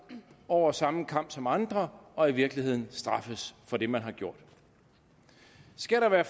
over samme kam som andre og i virkeligheden straffes for det man har gjort skal der være